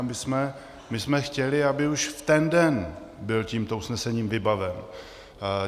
A my jsme chtěli, aby už v ten den byl tímto usnesením vybaven.